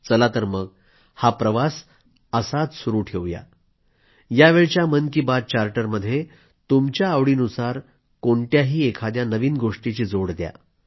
चला तर मग हा प्रवास असाच सुरू ठेवूया यावेळच्या मन की बात चार्टरमध्ये तुमच्या आवडीनुसार कोणत्याही एखाद्या नवीन गोष्टीची जोड द्या